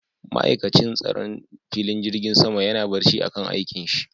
Ma'aikatin tsaron filin jirgin sama yana barci a kan aikin shi